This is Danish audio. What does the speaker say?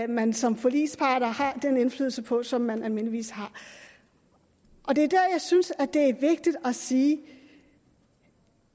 man som forligspart har den indflydelse på som man almindeligvis har det er der jeg synes at det er vigtigt at sige